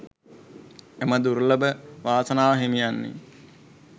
එම දුර්ලභ වාසනාව හිමිවන්නේ